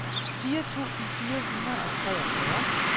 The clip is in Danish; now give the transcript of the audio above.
fire tusind fire hundrede og treogfyrre